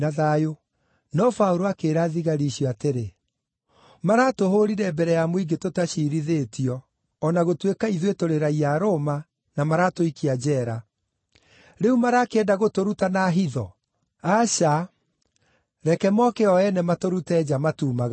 No Paũlũ akĩĩra thigari icio atĩrĩ, “Maratũhũũrire mbere ya mũingĩ tũtaciirithĩtio, o na gũtuĩka ithuĩ tũrĩ raiya a Roma, na maratũikia njeera. Rĩu marakĩenda gũtũruta na hitho? Aca! Reke mooke o ene matũrute nja, matuumagarie.”